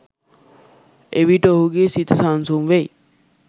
එවිට ඔහුගේ සිත සන්සුන් වෙයි